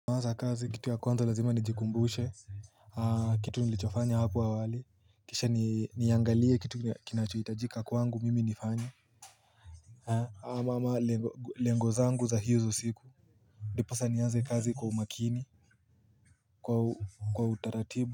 Mwanzo kazi kitu ya kwanza lazima nijikumbushe Kitu nilichofanya hapo awali Kisha niangalie kitu kinachohitajika kwangu mimi nifanye ama ama lengo zangu za hizo siku Ndiposa nianze kazi kwa umakini Kwa utaratibu.